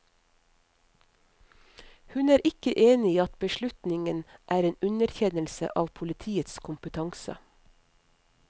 Hun er ikke enig i at beslutningen er en underkjennelse av politiets kompetanse.